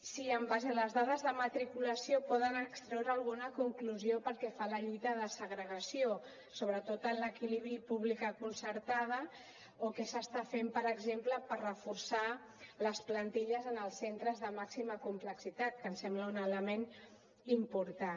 si en base a les dades de matriculació poden extreure alguna conclusió pel que fa a la lluita de la segregació sobretot en l’equilibri pública concertada o què s’està fent per exemple per reforçar les plantilles en els centres de màxima complexitat que ens sembla un element important